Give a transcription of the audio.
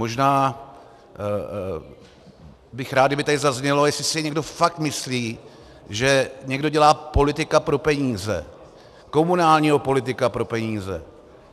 Možná bych rád, kdyby tady zaznělo, jestli si někdo fakt myslí, že někdo dělá politika pro peníze, komunálního politika pro peníze.